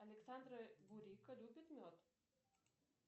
александра бурико любит мед